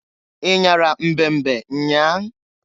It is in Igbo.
Inyara mbe mbe nnyaa?